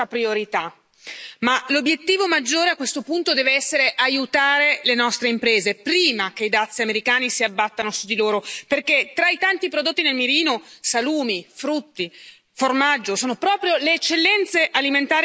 Ma l'obiettivo maggiore, a questo punto, deve essere aiutare le nostre imprese prima che i dazi americani si abbattano su di loro, perché tra i tanti prodotti nel mirino salumi, frutti, formaggio ci sono proprio le eccellenze alimentari dei nostri territori.